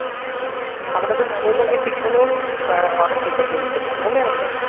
আমরা তো নববাড়ির পেছনে ইয়া লুকোচুরি খেলেছি মনে আছে?